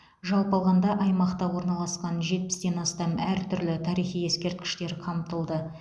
жалпы алғанда аймақта орналасқан жетпістен астам әртүрлі тарихи ескерткіштер қамтылды